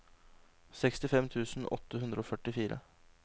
sekstifem tusen åtte hundre og førtifire